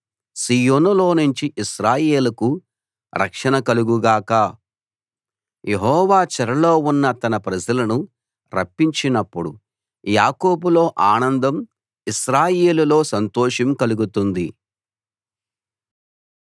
సీయోనులోనుంచి ఇశ్రాయేలుకు రక్షణ కలుగు గాక యెహోవా చెరలో ఉన్న తన ప్రజలను రప్పించినప్పుడు యాకోబులో ఆనందం ఇశ్రాయేలులో సంతోషం కలుగుతుంది